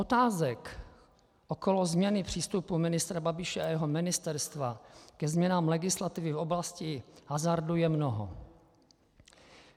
Otázek okolo změny přístupu ministra Babiše a jeho ministerstva ke změnám legislativy v oblasti hazardu je mnoho.